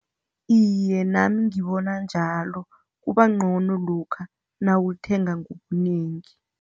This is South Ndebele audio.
Iye, nami ngibona njalo. Kubangcono lokha nawulithenga ngobunengi.